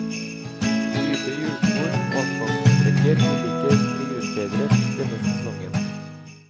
Dype hjulspor og asfaltsprekker vil ikke bli utbedret denne sesongen.